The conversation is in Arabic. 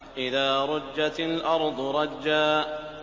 إِذَا رُجَّتِ الْأَرْضُ رَجًّا